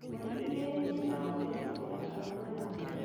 Mbũri igĩrĩ nĩ cirakuire kimera kĩa ng'aragu